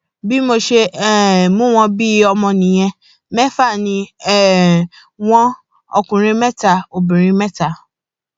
bí mo ṣe um mú wọn bíi ọmọ nìyẹn mẹfà ni um wọn ọkùnrin mẹta obìnrin mẹta